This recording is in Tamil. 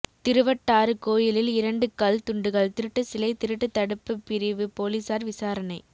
திருவட்டாறு கோயிலில் இரண்டு கல் தூண்கள் திருட்டுசிலை திருட்டு தடுப்புப் பிரிவு போலீஸாா் விசாரணை